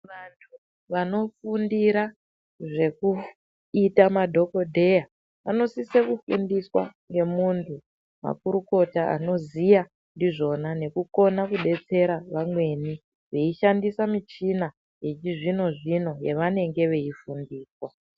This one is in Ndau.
Vantu vanofundira zvekuita madhokodheya vanosisa kufundiswa ngemuntu makurukota anoziya ndizvona nekukona kudetsera vamweni veishandisa muchina yechizvino zvino yavananga veifundiswa.